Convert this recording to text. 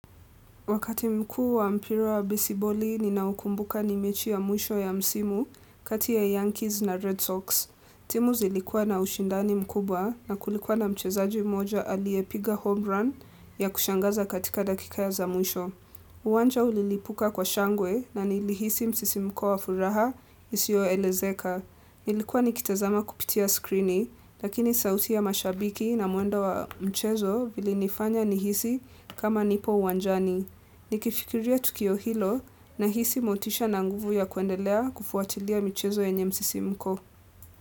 Wakati mkuu wa mpira wa besiboli, ninaukumbuka ni mechi ya mwisho ya msimu kati ya Yankees na Red Sox. Timu zilikua na ushindani mkubwa na kulikuwa na mchezaji moja aliyepiga home run ya kushangaza katika dakika ya za mwisho. Uwanja ulilipuka kwa shangwe na nilihisi msisimko wa furaha, isiyoelezeka. Nilikuwa nikitazama kupitia skrini, lakini sauti ya mashabiki na mwendo wa mchezo vilinifanya nihisi kama nipo uwanjani. Nikifikiria tukio hilo nahisi motisha na nguvu ya kuendelea kufuatilia michezo yenye msisimko.